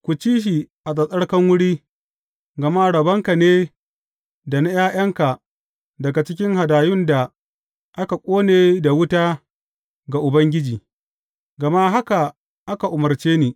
Ku ci shi a tsattsarkan wuri, gama rabonka ne da na ’ya’yanka daga cikin hadayun da akan ƙone da wuta ga Ubangiji; gama haka aka umarce ni.